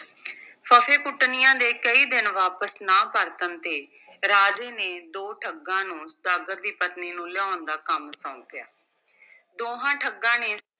ਫੱਫੇਕੁੱਟਣੀਆਂ ਦੇ ਕਈ ਦਿਨ ਵਾਪਸ ਨਾ ਪਰਤਣ ਤੇ ਰਾਜੇ ਨੇ ਦੋ ਠੱਗਾਂ ਨੂੰ ਸੁਦਾਗਰ ਦੀ ਪਤਨੀ ਨੂੰ ਲਿਆਉਣ ਦਾ ਕੰਮ ਸੌਂਪਿਆ, ਦੋਹਾਂ ਠੱਗਾਂ ਨੇ